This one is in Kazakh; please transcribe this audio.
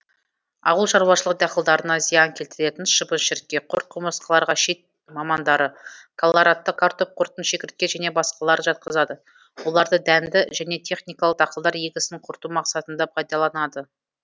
ауыл шаруашылық дақылдарына зиян келтіретін шыбын шіркей құрт құмырсқаларға шет мамандары колорадты картоп құртын шегіртке және басқаларын жатқызады оларды дәнді және техникалық дақылдар егісін құрту мақсатында пайдаланады